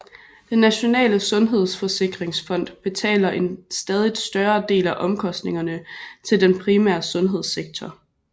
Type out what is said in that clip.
Den nationale sundhedsforsikringsfond betaler en stadigt større del af omkostningerne til den primære sundhedssektor